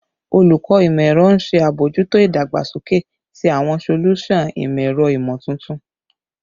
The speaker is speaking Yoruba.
Olukọ Imọ-ẹrọ n ṣe abojuto idagbasoke ti awọn solusan imọ-ẹrọ imotuntun